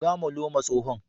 buga molo ma tsohon.